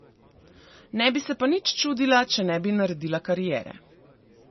Ne bi se pa nič čudila, če ne bi naredila kariere.